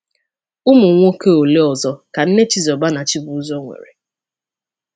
Ụmụ nwoke ole ọzọ ka nne Chizoba na Chibuzor nwere?